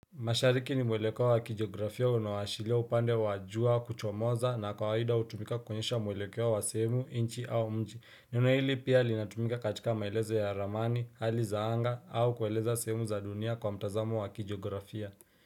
Mashariki ni mwelekeo wa kijiografia unaoashiria upande wa jua kuchomoza na kawaida hutumika kuonyesha mwelekeo wa sehemu nchi au mji. Neno hili pia linatumika katika maelezo ya ramani, hali za anga au kueleza sehemu za dunia kwa mtazamo wa wakijiografia.